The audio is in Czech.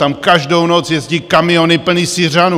Tam každou noc jezdí kamiony plné Syřanů.